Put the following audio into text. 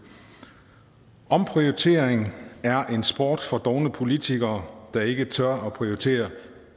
omprioritering er en sport for dovne politikere der ikke tør at prioritere